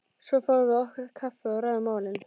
Svo fáum við okkur kaffi og ræðum málin.